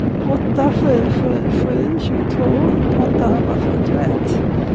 åtta sju sju sju tjugotvå åttahundrafyrtioett